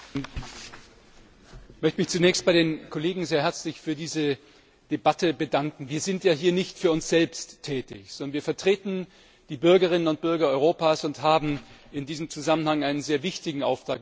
Frau Präsidentin! Ich möchte mich zunächst bei den Kolleginnen und Kollegen sehr herzlich für diese Debatte bedanken. Wir sind ja hier nicht für uns selbst tätig, sondern wir vertreten die Bürgerinnen und Bürger Europas und haben in diesem Zusammenhang einen sehr wichtigen Auftrag.